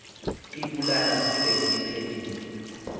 ibibulala singe siphelile